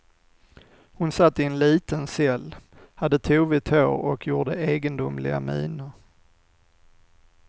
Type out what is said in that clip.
Hon satt i en liten cell, hade tovigt hår och gjorde egendomliga miner.